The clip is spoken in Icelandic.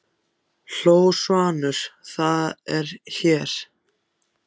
hló Svanur, það er allt hér!